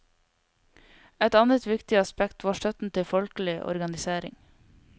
Et annet viktig aspekt var støtten til folkelig organisering.